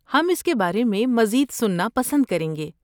ہم اس کے بارے میں مزید سننا پسند کریں گے۔